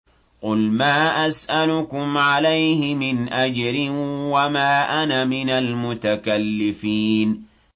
قُلْ مَا أَسْأَلُكُمْ عَلَيْهِ مِنْ أَجْرٍ وَمَا أَنَا مِنَ الْمُتَكَلِّفِينَ